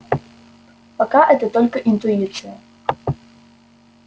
пока это только интуиция